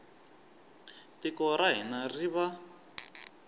tiko ra hina ri va